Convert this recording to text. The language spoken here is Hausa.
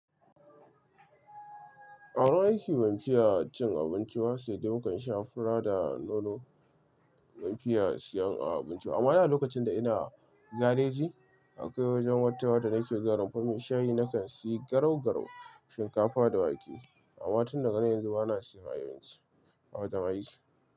A wurin aiki ban fiya cin abinci ba sai dai mu kan sha fura da nono, ban fiya siyan abinci ba. Amma ai a lokacin da ina gareji akwai wajen wata wadda nake zuwa rumfan mai shayi na kan sayi garau-garau, shinkafa da wake. Amma tun daga nan yanzu bana siyan abinci, awajen aiki.